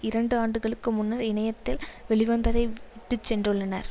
இரண்டு ஆண்டுகளுக்கு முன்னர் இணையத்தில் வெளிவந்ததை விட்டு சென்றுள்ளனர்